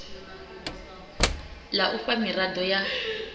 la u fha mirado ya